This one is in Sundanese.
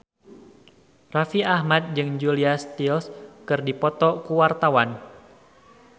Raffi Ahmad jeung Julia Stiles keur dipoto ku wartawan